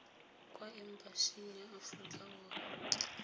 kwa embasing ya aforika borwa